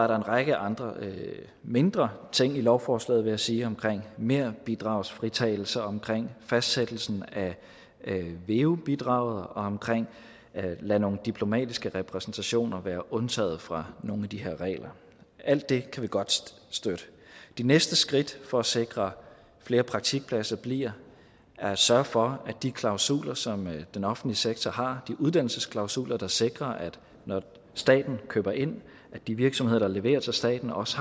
række andre mindre ting i lovforslaget vil jeg sige omkring merbidragsfritagelse omkring fastsættelsen af veu bidraget og omkring at lade nogle diplomatiske repræsentationer være undtaget fra nogle af de her regler alt det kan vi godt støtte de næste skridt for at sikre flere praktikpladser bliver at sørge for at de klausuler som den offentlige sektor har de uddannelsesklausuler der sikrer at når staten køber ind har de virksomheder der leverer til staten også